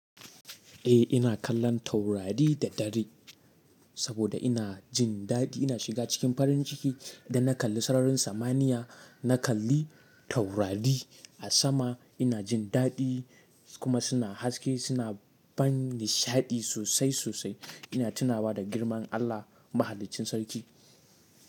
Eh ina kallon taurari da dare saboda ina jin daɗi. Ina shiga cikin farin ciki idan na kalli sararin samaniya, na kalli taurari a sama. Ina jin daɗi kuma suna haske, suna ban nishaɗi sosai sosai. Ina tunawa da girman Allah mahalicin sarki.